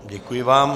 Děkuji vám.